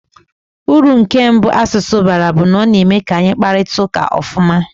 Uru nke mbụ asụsụ bara bụ na ọ na-eme ka anyị kparịta ụka ofuma.